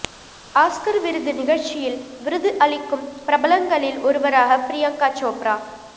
Oscar விருது நிகழ்ச்சியில் விருது அளிக்கும் பிரபலங்களில் ஒருவராக பிரியங்கா சோப்ரா